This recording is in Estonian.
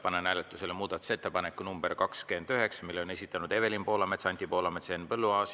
Panen hääletusele muudatusettepaneku nr 29, mille on esitanud Evelin Poolamets, Anti Poolamets ja Henn Põlluaas.